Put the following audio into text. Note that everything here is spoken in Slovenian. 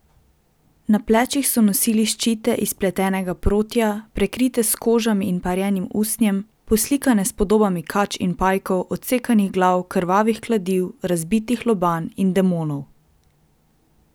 Na plečih so nosili ščite iz pletenega protja, prekrite s kožami in parjenim usnjem, poslikane s podobami kač in pajkov, odsekanih glav, krvavih kladiv, razbitih lobanj in demonov.